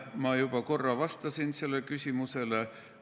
Ma juba korra vastasin sellele küsimusele.